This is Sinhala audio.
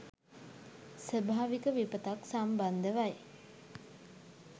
ස්වභාවික විපතක් සම්බන්ධවයි.